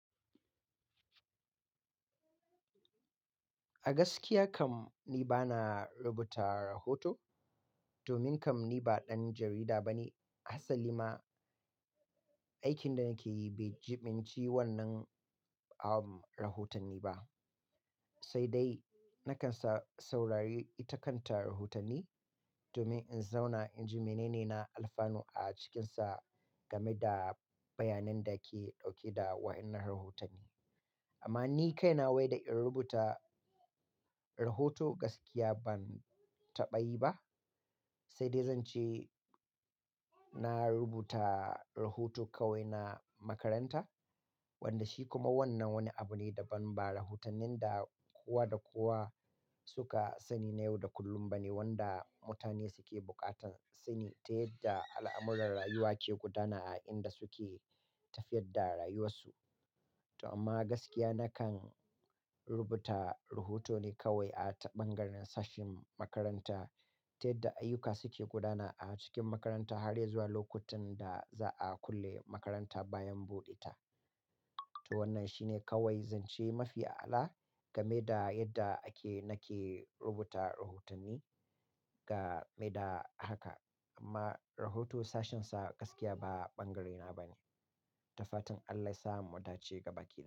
A gaskiya kam ni bana rubuta rahoto, domin kam ni ba ɗan jarida ba ne. Hassali ma, aikin da nake yi bai jibinci wannan am rahotanni ba. Sai dai, na kan saurari ita kanta rahotanni domin in zauna in ji mene ne na alfano a cikinsa game da bayanan da ke ɗauke da wayannan rahotanni. Amma ni kaina wai da in rubuta rahoto gaskiya ban taɓa yi ba. Sai dai zan ce na rubuta rahoto kawai na makaranta, wanda shi kuma wannan wani abu ne daban ba rahotannin da kowa da kowa suka sani na yau da kullum ba ne wanda mutane suke buƙatan sani ta yadda al'amuran rayuwa ke gudana a inda suke tafiyar da rayuwarsu. To amma gaskiya na kan rubuta rahoto ne kawai a ta ɓangaren sashin makaranta ta yadda ayyuka suke gudana a cikin makaranta har zuwa lokutan da za a kulle makaranta bayan buɗe ta. To wannan shine kawai zan ce mafi a'ala game da yadda ake-- nake rubuta rahotanni game da haka. Amma rahoto sashensa gaskiya ba ɓangarena ba ne. Dafatan Allah ya sa mu mu dace gaba ƙi.